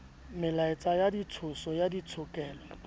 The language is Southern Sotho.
melaetsa ya ditshoso ya ditshokelo